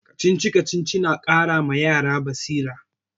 Kacici-kacici na ƙara ma yara basira.